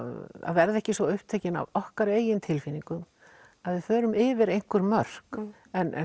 verða ekki svo upptekin af okkar eigin tilfinningum að við förum yfir einhver mörk en